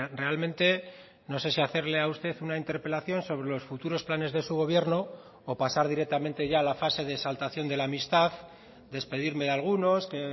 realmente no sé si hacerle a usted una interpelación sobre los futuros planes de su gobierno o pasar directamente ya la fase de exaltación de la amistad despedirme de algunos que